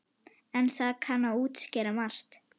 En það kann að útskýra margt.